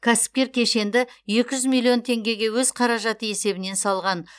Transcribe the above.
кәсіпкер кешенді екі жүз миллион теңгеге өз қаражаты есебінен салған